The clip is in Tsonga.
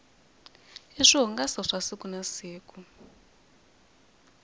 i swihungaso swa siku na siku